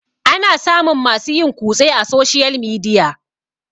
ana samun masu yin kutse a soshiyal midia